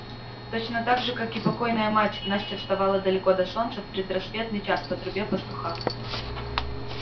точно так же как и покойная мать настя вставала далеко до солнца в предрассветный час по трубе пастуха